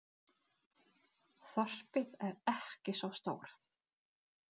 Þorpið er ekki svo stórt.